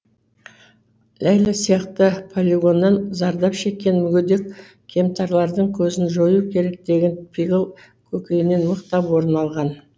ләйлә сияқты полигоннан зардап шеккен мүгедек кемтарлардың көзін жою керек деген пиғыл көкейінен мықтап орын алған